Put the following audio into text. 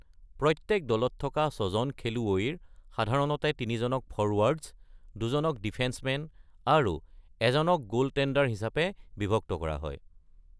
প্ৰত্যেক দলত থকা ছজন খেলুৱৈৰ সাধাৰণতে তিনিজনক ফ’ৰৱাৰ্ডছ্, দুজনক ডিফেন্স মেন আৰু এজনক গোলটেণ্ডাৰ হিচাপে বিভক্ত কৰা হয়।